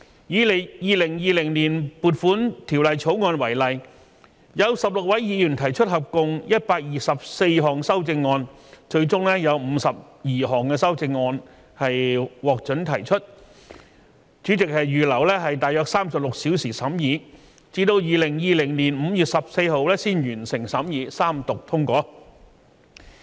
以《2020年撥款條例草案》為例，有16位議員提出合共124項修正案，最終有52項修正案獲准提出，主席預留約36小時審議，至2020年5月14日才完成審議，三讀通過。